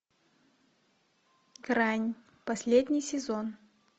грань последний сезон